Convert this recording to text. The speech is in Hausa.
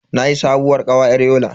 Nayi sabuwar kawa yar Yola.